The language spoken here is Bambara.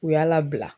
U y'a labila